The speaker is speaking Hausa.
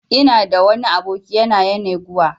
Ina da wani aboki a yanaguwa